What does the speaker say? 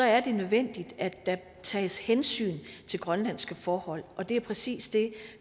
er det nødvendigt at der tages hensyn til grønlandske forhold og det er præcis det